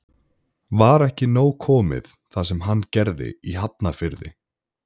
Var ekki nóg komið það sem hann gerði í Hafnarfirði?